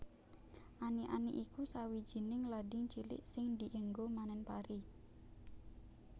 Ani ani iku sawijining lading cilik sing dienggo manen pari